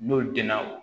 N'o denna